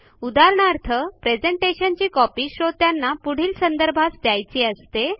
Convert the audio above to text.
उदाहरणार्थ प्रेझेंटेशनची कॉपी श्रोत्यांना पुढील संदर्भास द्यायची असते